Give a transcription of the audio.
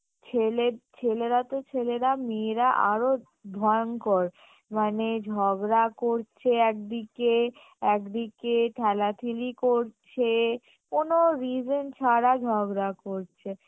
ছেলে~ ছেলেরা তো ছেলেরা মেয়েরা আরও ভয়ঙ্কর মানে ঝগড়া করছে একদিকে একদিকে ঠেলাঠেলি করছে কোনো reason ছাড়া ঝগড়া করছে